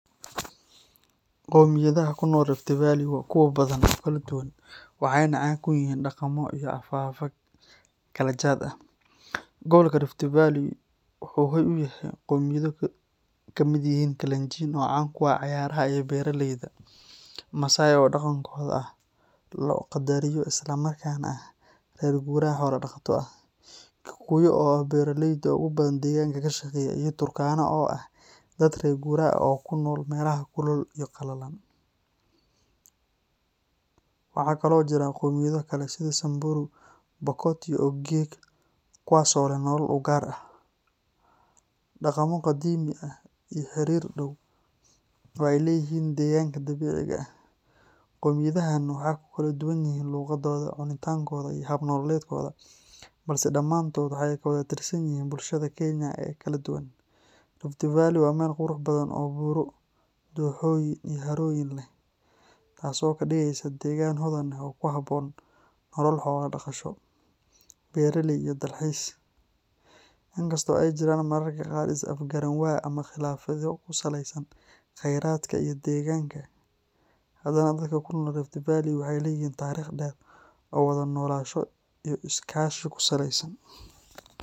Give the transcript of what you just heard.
Qowmiyadaha ku nool Rift Valley waa kuwo badan oo kala duwan, waxayna caan ku yihiin dhaqamo iyo afaf kala jaad ah. Gobolka Rift Valley wuxuu hoy u yahay qowmiyado ay ka mid yihiin Kalenjin oo caan ku ah cayaaraha iyo beeralayda, Maasai oo dhaqankooda aad loo qadariyo isla markaana ah reer guuraa xoolo dhaqato ah, Kikuyu oo ah beeraleyda ugu badan ee deegaanka ka shaqeeya, iyo Turkana oo ah dad reer guuraa ah oo ku nool meelaha kulul iyo qalalan. Waxaa kaloo jira qowmiyado kale sida Samburu, Pokot, iyo Ogiek kuwaas oo leh nolol u gaar ah, dhaqamo qadiimi ah, iyo xiriir dhow oo ay la leeyihiin deegaanka dabiiciga ah. Qowmiyadahan waxay ku kala duwan yihiin luqadooda, cuntooyinkooda, iyo hab nololeedkooda, balse dhammaantood waxay ka wada tirsan yihiin bulshada Kenya ee kala duwan. Rift Valley waa meel qurux badan oo buuro, dooxooyin, iyo harooyin leh, taasoo ka dhigaysa deegaan hodan ah oo ku habboon nolol xoolo-dhaqasho, beeraley, iyo dalxiis. Inkasta oo ay jiraan mararka qaar is-afgaranwaa ama khilaafaadyo ku saleysan kheyraadka iyo degaanka, haddana dadka ku nool Rift Valley waxay leeyihiin taariikh dheer oo wada noolaansho iyo iskaashi ku saleysan.